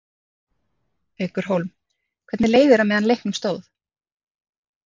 Haukur Hólm: Hvernig leið þér á meðan á leiknum stóð?